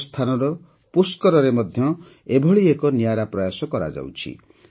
ରାଜସ୍ଥାନର ପୁଷ୍କରରେ ମଧ୍ୟ ଏପରି ଏକ ନିଆରା ପ୍ରୟାସ କରାଯାଉଛି